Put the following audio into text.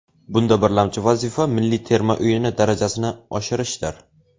Bunda birlamchi vazifa milliy terma o‘yini darajasini oshirishdir.